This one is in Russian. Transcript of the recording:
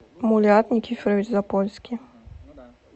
мулиат никифорович запольский